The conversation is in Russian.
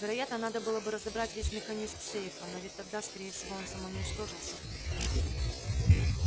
вероятно надо было бы разобрать весь механизм сейфа но ведь тогда скорее всего он самоуничтожился бы